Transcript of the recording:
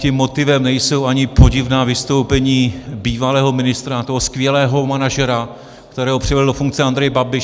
Tím motivem nejsou ani podivná vystoupení bývalého ministra, toho skvělého manažera, kterého přivedl do funkce Andrej Babiš.